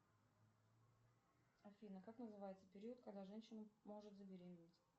афина как называется период когда женщина может забеременеть